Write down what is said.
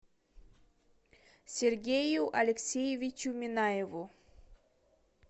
сергею алексеевичу минаеву